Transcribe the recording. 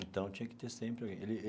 Então, tinha que ter sempre alguém ele.